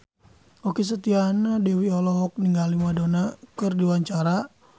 Okky Setiana Dewi olohok ningali Madonna keur diwawancara